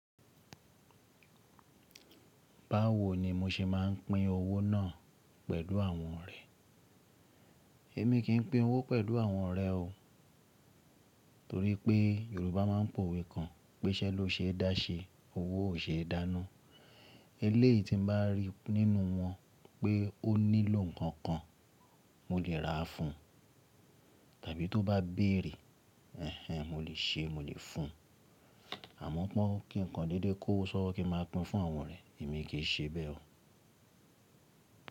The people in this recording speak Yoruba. Báwo ni mo ṣe máa ń pín owó náà pẹ̀lú àwọn ọ̀rẹ́? Èmi kì í pín owó pẹ̀lú àwọn ọ̀rẹ́ o. Torí pé Yorùbá máa ń pòwe kan, “Písẹ́ ló ṣe é dá ṣe, owó ò ṣe é dánú.” Eléyìí tí mo bá rí nínú wọn pé ó nílò nǹkan kan, mo lè ra fún un. Tàbí tó bá béèrè, ẹhnen, mo lè ṣe, mo lè fún un. Àmọ́ pọ́n kí nǹkan dédé kó sọ wí pé kí máa pín fún àwọn ọ̀rẹ́, èmi kì í ṣe bẹ́ẹ̀ o.